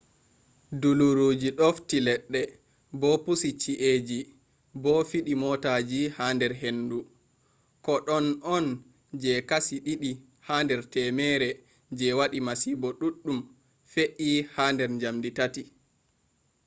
duluruji ɗoffi leɗɗe bo pusi ci’eji bo fiɗi motaji ha nder hendu. ko ɗon on je kashi ɗiɗi ha nder temere je waɗi masibo ɗuɗɗum fe’i ha nder njamdi tati